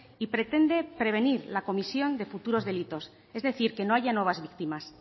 y pretende prevenir la comisión de futuros delitos es decir que no haya nuevas víctimas